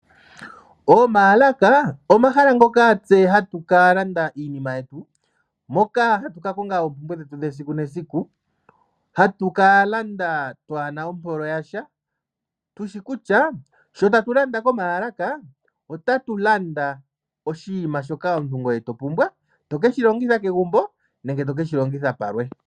Omaalaka omahala ngoka tse hatu ka landa iinima yetu, moka hatu ka konga oompumbwe dhetu dhesiku nesiku. Hatu ka landa twaana ompolo yasha ,tushi kutya sho tatu landa komaalaka otatu landa oshinima shoka omuntu ngoye to pumbwa to keshi longitha kegumbo nenge to ke shi longitha palwe.